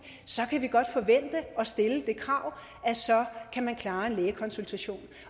så kan vi godt forvente og stille det krav at så kan man klare en lægekonsultation